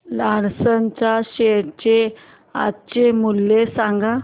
Larsen च्या share चे आजचे मूल्य सांगा